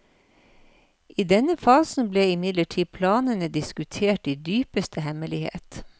I denne fasen ble imidlertid planene diskutert i dypeste hemmelighet.